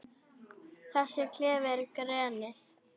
Þessi klefi er grenið.